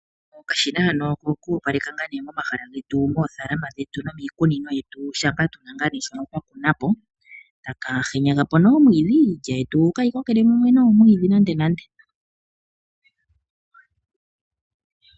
Okashina haka oko ku opaleka moofaalama dhetu nenge momahala getu nomiikunino yetu shampa tuna ngaa shoka twa kuna po, etaka henya gapo nee omwiidhi, opo iilya yetu kaayi kokele mumwe noomwiidhi nandenande.